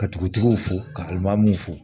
Ka dugutigiw fo ka lumew fɔ